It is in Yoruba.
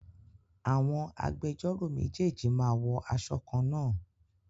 Àwọn agbẹjọ́ró méjèèjì máa wọ aṣọ kan-náà